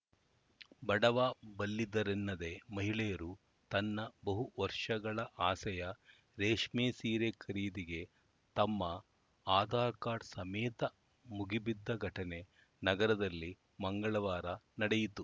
ಬಡವಬಲ್ಲಿದರೆನ್ನದೇ ಮಹಿಳೆಯರು ತನ್ನ ಬಹು ವರ್ಷಗಳ ಆಸೆಯ ರೇಷ್ಮೆ ಸೀರೆ ಖರೀದಿಗೆ ತಮ್ಮ ಆಧಾರ್‌ ಕಾರ್ಡ್ ಸಮೇತ ಮುಗಿಬಿದ್ದ ಘಟನೆ ನಗರದಲ್ಲಿ ಮಂಗಳವಾರ ನಡೆಯಿತು